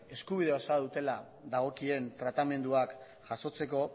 eskubide osoa dutela dagokien tratamenduak jasotzeko